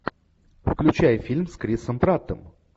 включай фильм с крисом праттом